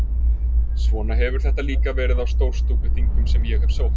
Svona hefur þetta líka verið á Stórstúkuþingum sem ég hef sótt.